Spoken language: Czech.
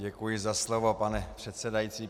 Děkuji za slovo, pane předsedající.